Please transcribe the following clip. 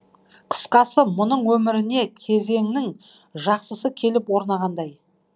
қысқасы мұның өміріне кезеңнің жақсысы келіп орнағандай